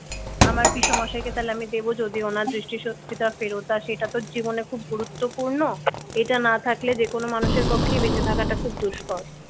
আমার পিসেমশাইকে তাহলে আমি দেবো যদি ওনার দৃষ্টিশক্তিটা ফেরত আসে এটা তো জীবনে খুব গুরুত্বপূর্ণ এটা না থাকলে যেকোনো মানুষের পক্ষেই বেঁচে থাকাটা খুব দুষ্কর।